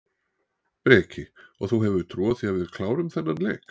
Breki: Og þú hefur trú á því að við klárum þennan leik?